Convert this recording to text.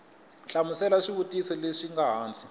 hlamula swivutiso leswi nga hansi